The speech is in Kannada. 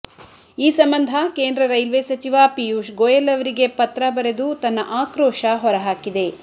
ಈ ಸಂಬಂಧ ಕೇಂದ್ರ ರೈಲ್ವೆ ಸಚಿವ ಪಿಯೂಷ್ ಗೋಯಲ್ ಅವರಿಗೆ ಪತ್ರ ಬರೆದು ತನ್ನ ಆಕ್ರೋಶ ಹೊರಹಾಕಿದೆ